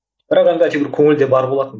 бірақ енді әйтеуір көңілде бар болатын